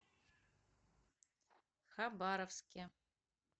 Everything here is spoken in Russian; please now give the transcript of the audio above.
хабаровске